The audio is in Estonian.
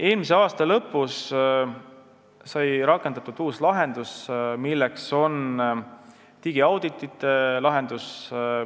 Eelmise aasta lõpus sai rakendatud uus digiauditite lahendus.